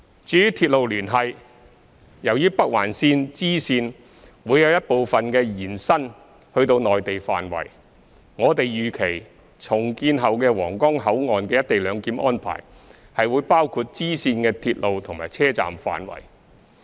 至於鐵路連繫，由於北環綫支綫會有一部分延伸至內地範圍，我們預期重建後的皇崗口岸的"一地兩檢"安排會包括支線的鐵路及車站範圍。